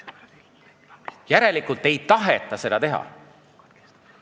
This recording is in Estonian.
Järelikult ei taheta seda teha.